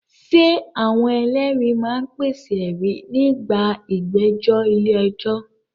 Ṣé àwọn ẹlẹ́rìí máa ń pèsè ẹ̀rí nígbà ìgbẹ́jọ́ ilé ẹjọ́?